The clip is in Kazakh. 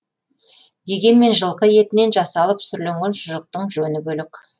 дегенмен жылқы етінен жасалып сүрленген шұжықтың жөні бөлек